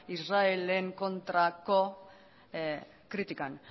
israelen kontrako kritikan